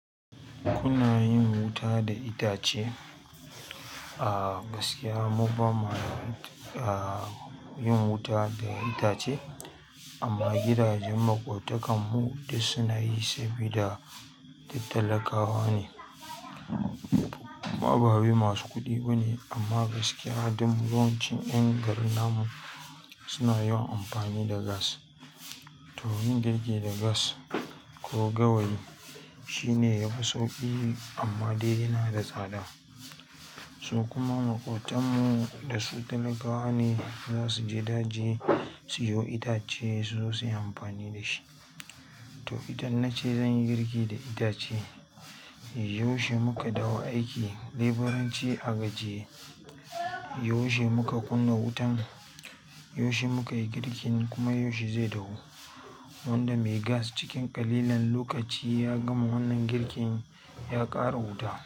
Kuna yin wuta da itace? A gaskiya mu ba ma a yin wuta da itace amma gidajen makwabtakan mu duk suna yi sabida duk talakawa ne. Ababe masu kuɗi bane amma gaskiya don yawancin ƴan garin namu suna yawan amfani da gas. To yin girki da gas ko gawayi shine yafi sauƙi, amma dai yana da tsada. Su kuma maƙotanmu da su talakawa ne za su je daji suyo itace suzo suyi amfani da shi. To idan na ce zan yi girki da itace, yaushe muka dawo aiki leburanci a waje yaushe muka kunna wutan? Yaushe muka yi girkin kuma yaushe zai dahu? Wanda mai gas cikin ƙalilan lokaci ya gama wannan girkin ya ƙara wuta.